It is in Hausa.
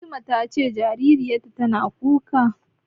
Fatima ta ce jaririyar tana kuka.